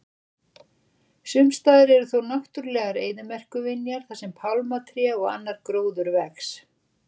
Sumstaðar eru þó náttúrulegar eyðimerkurvinjar þar sem pálmatré og annar gróður vex.